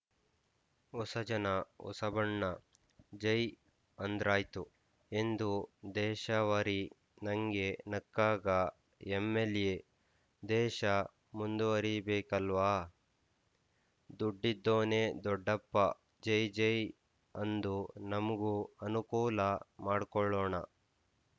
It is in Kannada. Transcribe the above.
ಹೊಸಜನ ಹೊಸಬಣ್ಣ ಜೈ ಅಂದ್ರಾಯ್ತು ಎಂದು ದೇಶಾವರಿ ನಂಗೆ ನಕ್ಕಾಗ ಎಂಎಲ್ಎ ದೇಶ ಮುಂದುವರೀ ಬೇಕಲ್ವ ದುಡ್ಡಿದ್ದೋನೆ ದೊಡ್ಡಪ್ಪ ಜೈಜೈ ಅಂದು ನಮ್ಗೂ ಅನುಕೂಲ ಮಾಡ್ಕೋಳ್ಳೋಣ